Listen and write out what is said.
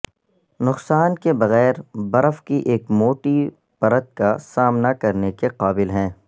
نقصان کے بغیر برف کی ایک موٹی پرت کا سامنا کرنے کے قابل ہیں